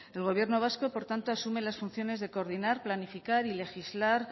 el gobierno vasco por tanto asume las funciones de coordinar planificar y legislar